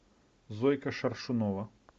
зойка шаршунова